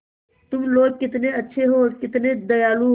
तुम लोग कितने अच्छे हो कितने दयालु हो